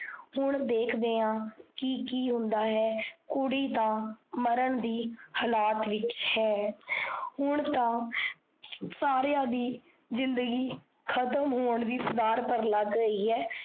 ਹੁਣ ਦੇਖਦੇ ਹਾਂ ਕੀ ਕੀ ਹੁੰਦਾ ਹੈ। ਕੁੜੀ ਤਾਂ ਮਰਨ ਦੇ ਹਾਲਾਤ ਵਿੱਚ ਹੈ। ਹੁਣ ਤਾਂ ਸਾਰਿਆ ਦੀ ਜ਼ਿੰਦਗੀ ਖਤਮ ਹੋਣ ਦੀ ਤਦਾਦ ਪਰ ਲੱਗ ਗਈ ਹੈ।